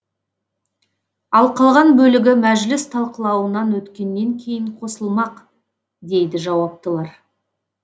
ал қалған бөлігі мәжіліс талқылауынан өткеннен кейін қосылмақ дейді жауаптылар